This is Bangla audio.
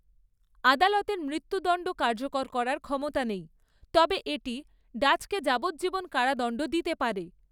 আদালতের মৃত্যুদণ্ড কার্যকর করার ক্ষমতা নেই, তবে এটি ডাচকে যাবজ্জীবন কারাদণ্ড দিতে পারে।